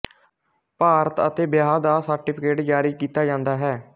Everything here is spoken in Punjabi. ਭਾਰਤ ਅਤੇ ਵਿਆਹ ਦਾ ਸਰਟੀਫਿਕੇਟ ਜਾਰੀ ਕੀਤਾ ਜਾਂਦਾ ਹੈ